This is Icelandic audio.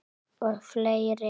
Og fleiri.